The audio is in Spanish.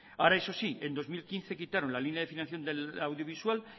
ahora eso sí en dos mil quince quitaron la línea de financiación audiovisual